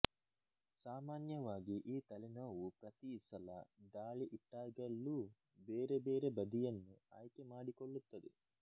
ಸಾಮಾನ್ಯವಾಗಿ ಈ ತಲೆನೋವು ಪ್ರತಿ ಸಲ ದಾಳಿ ಇಟ್ಟಾಗಲೂ ಬೇರೆ ಬೇರೆ ಬದಿಯನ್ನು ಆಯ್ಕೆ ಮಾಡಿಕೊಳ್ಳುತ್ತದೆ